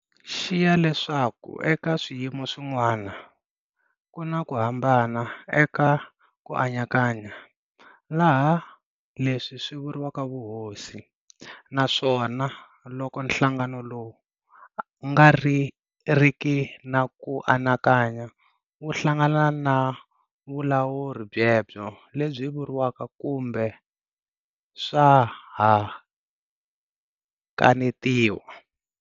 Xiya leswaku eka swiyimo swin'wana, ku na ku hambana eka "ku anakanya" laha leswi swi vuriwaka "vuhosi", naswona loko nhlangano lowu nga riki na ku anakanya wu hlangana na vulawuri byebyo lebyi vuriwaka kumbe swa ha kanetiwa.